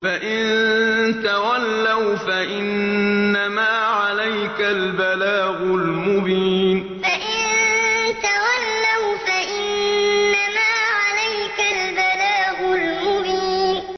فَإِن تَوَلَّوْا فَإِنَّمَا عَلَيْكَ الْبَلَاغُ الْمُبِينُ فَإِن تَوَلَّوْا فَإِنَّمَا عَلَيْكَ الْبَلَاغُ الْمُبِينُ